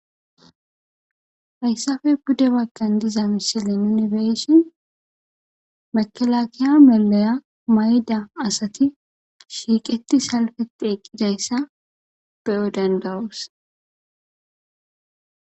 Hayissappe pude bagan de"iza missile bolla nu beyishin mekelekela maliya mayida asata beyo dandayoss